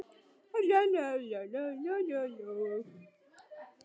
Húsgögnin komu frá Höfn í það mund sem framtíðaráformin voru rústuð.